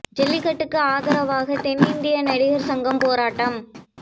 ஜல்லிக்கட்டுக்கு ஆதரவாக தென்னிந்திய நடிகர் சங்கம் போராட்டம்